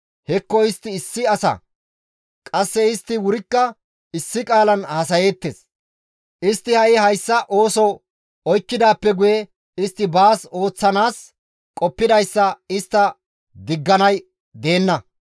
«Hekko istti issi asa! Qasse istti wurikka issi qaalan haasayeettes; istti ha7i hayssa ooso oykkidaappe guye, istti baas ooththanaas qoppidayssa istta digganay deenna.